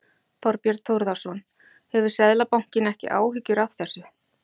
Þorbjörn Þórðarson: Hefur Seðlabankinn ekki áhyggjur af þessu?